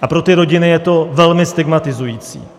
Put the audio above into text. A pro ty rodiny je to velmi stigmatizující.